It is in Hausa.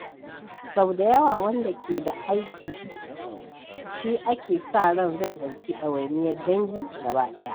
Sau da yawa, wanda ke da aiki shi ake sa ran zai ɗauki ɗawainiyar dangi gaba ɗaya.